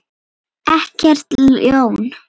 Ekkert ljón.